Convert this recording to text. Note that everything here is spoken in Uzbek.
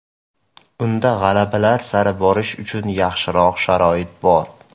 Unda g‘alabalar sari borish uchun yaxshiroq sharoit bor.